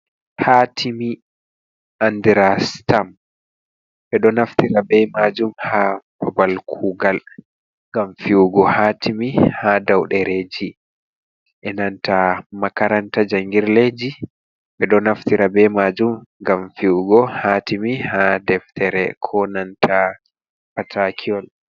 Hatimi andira stam be do naftira be majum ha babal kugal, gam fi’ugo hatimi ha dau dereji. E nanta makaranta jangirdeji be do naftira be majum gam fi’ugo hatimi ha deftere ko nanta patakiyol.